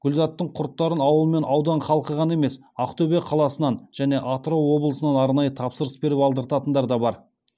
гүлзаттың құрттарын ауыл мен аудан халқы ғана емес ақтөбе қаласынан және атырау облысынан арнайы тапсырыс беріп алдыртатындар бар